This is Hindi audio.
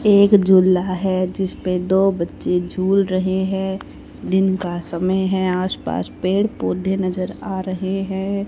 एक झूला है जिस पे दो बच्चे झूल रहे हैं दिन का समय है आसपास पेड़ पौधे नजर आ रहे हैं।